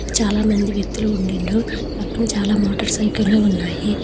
చాలామంది వ్యక్తులు ఉన్నిండ్రు పక్కన చాలా మోటార్ సైకిల్లు ఉన్నాయి.